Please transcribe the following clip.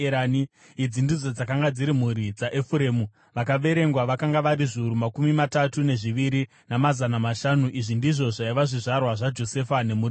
Idzi ndidzo dzakanga dziri mhuri dzaEfuremu; vakaverengwa vakanga vari zviuru makumi matatu nezviviri, namazana mashanu. Izvi ndizvo zvaiva zvizvarwa zvaJosefa nemhuri dzavo.